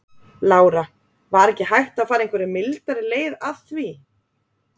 Lára: Var ekki hægt að fara einhverja mildari leið að því?